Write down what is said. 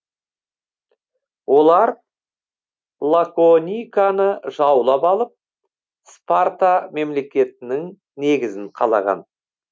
олар лакониканы жаулап алып спарта мемлекетінің негізін қалаған